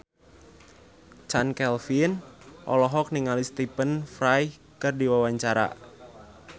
Chand Kelvin olohok ningali Stephen Fry keur diwawancara